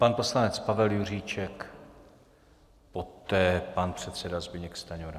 Pan poslanec Pavel Juříček, poté pan předseda Zbyněk Stanjura.